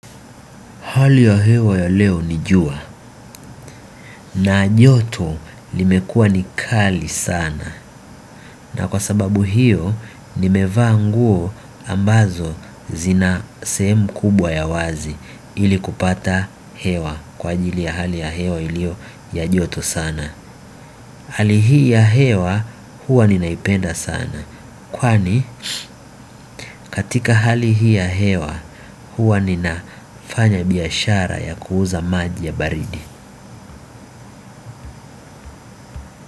Hali ya hewa ya leo ni jua na joto limekua nikali sana na kwa sababu hiyo nimevaa nguo ambazo zina sehemu kubwa ya wazi ili kupata hewa kwa ajili ya hali ya hewa iliyo ya ajoto sana. Hali hii ya hewa huwa ninaipenda sana kwani katika hali hii ya hewa huwa ninafanya biashara ya kuuza maji ya baridi.